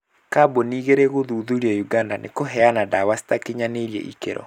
Kambuni igĩrĩ gũthuthurio Uganda nĩ kũheana ndawa citakinyanĩirie ikĩro.